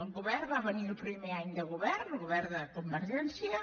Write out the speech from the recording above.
el govern va venir el primer any de govern el govern de convergència